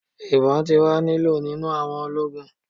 Ibon ti wa ni lo ninu awọn ologun